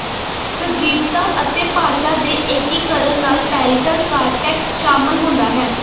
ਸਜੀਵਤਾ ਅਤੇ ਭਾਸ਼ਾ ਦੇ ਏਕੀਕਰਨ ਨਾਲ ਪੈਰੀਟਲ ਕਾਰਟੈਕਸ ਸ਼ਾਮਲ ਹੁੰਦਾ ਹੈ